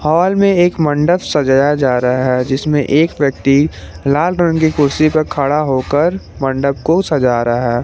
Hall में एक मंडप सजाया जा रहा है जिसमे एक व्यक्ति लाल रंग की कुर्सी पर खड़ा होकर मंडप को सजा रहा है।